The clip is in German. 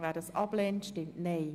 Wer diesen ablehnt, stimmt Nein.